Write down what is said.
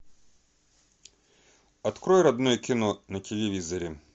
открой родное кино на телевизоре